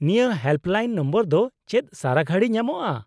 -ᱱᱤᱭᱟᱹ helpline number ᱫᱚ ᱪᱮᱫ ᱥᱟᱨᱟᱜᱷᱩᱲᱤ ᱧᱟᱢᱚᱜᱼᱟ ?